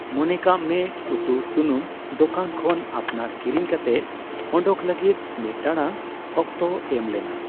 ᱢᱚᱱᱮ ᱠᱟᱜ ᱢᱮ, ᱩᱛᱩᱼᱥᱩᱱᱟᱩᱢ ᱫᱚᱠᱟᱱ ᱠᱷᱚᱱ ᱟᱯᱱᱟᱨ ᱠᱤᱨᱤᱧ ᱠᱟᱛᱮ ᱚᱰᱚᱠ ᱞᱟᱹᱜᱤᱫ ᱢᱤᱫ ᱴᱟᱲᱟᱝ ᱚᱠᱛᱚ ᱮᱢ ᱞᱮᱱᱟ ᱾